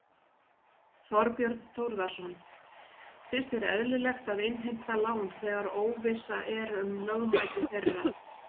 Þorbjörn Þórðarson: Finnst þér eðlilegt að innheimta lán þegar óvissa er um lögmæti þeirra?